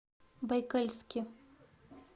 байкальске